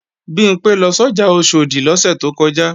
Bimpé lọ sọ́jà Oṣòdì lọ́sẹ̀ tó kọjá